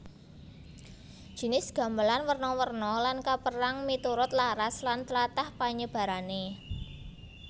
Jinis gamelan werna werna lan kapérang miturut laras lan tlatah panyebarané